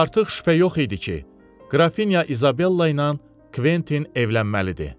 Artıq şübhə yox idi ki, Qrafinya İzabella ilə Kventin evlənməlidir.